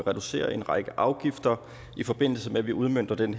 reducere en række afgifter i forbindelse med at vi udmønter den